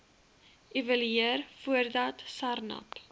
evalueer voordat sarnap